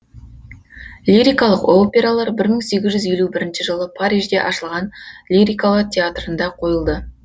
лирикалық опералар бір мың сегіз жүз елу бірінші жылы парижде ашылған лирикалар театрында қойылды